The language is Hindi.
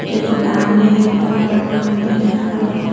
ये दुकानें हैं बड़ा-बड़ा मकाने हैं। हरा-भरा --